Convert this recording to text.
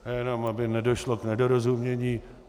Já jenom aby nedošlo k nedorozumění.